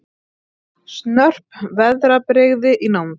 Snörp veðrabrigði í nánd